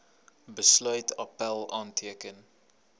besluit appèl aanteken